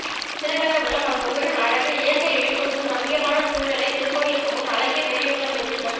திருக்கண்ணபுரம் அந்த ஊரின் அழகு இயற்கை எழில் கொஞ்சும் ரம்மியமான சூழ்நிலை திருக்கோயிலுக்கு முன் அழகிய பெரியகுளம் என்று நம்